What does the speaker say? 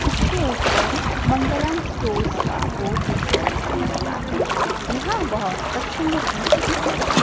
इसके ऊपर मंगलम स्टोर्स का बोर्ड दिखाई दे रहा है यहां बहुत कस्टमर भी दिख रहे हैं।